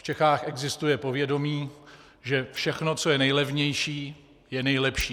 V Čechách existuje povědomí, že všechno, co je nejlevnější, je nejlepší.